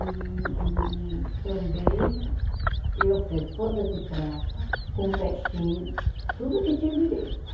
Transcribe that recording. E e também eu fiz bodas de prata com festinha e tudo que tinha direito.